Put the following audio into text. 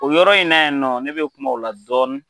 O yɔrɔ in na yen nɔ ne bɛ kuma o la dɔɔni